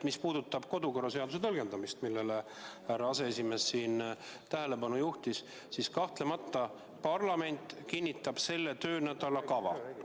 Mis puudutab kodukorraseaduse tõlgendamist, millele härra aseesimees tähelepanu juhtis, siis kahtlemata parlament kinnitab selle töönädala päevakorra.